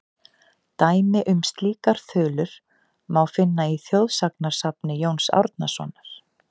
Dæmi um slíkar þulur má finna í þjóðsagnasafni Jóns Árnasonar:.